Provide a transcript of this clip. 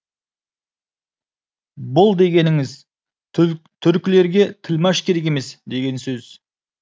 бұл дегеніңіз түркілерге тілмаш керек емес деген сөз